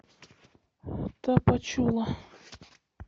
тапачула